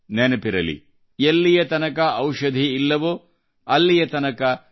ನೆನಪಿರಲಿ ಎಲ್ಲಿಯತನಕ ಔಷಧಿ ಇಲ್ಲವೋ ಅಲ್ಲಿಯ ತನಕ ನಿರ್ಲಕ್ಷ್ಯ ಸಲ್ಲ